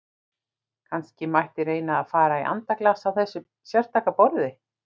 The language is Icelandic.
Kannski mætti reyna að fara í andaglas á þessu sérstaka borði!